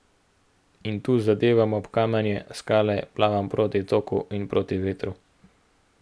In tu zadevam ob kamenje, skale, plavam proti toku in proti vetru.